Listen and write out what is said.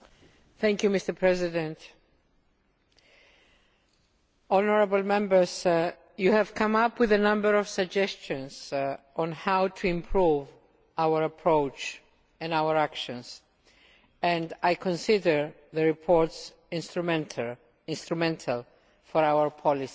Mr President, honourable Members, you have come up with a number of suggestions on how to improve our approach and our actions and I consider the report instrumental for our policy debate.